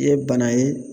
I ye bana ye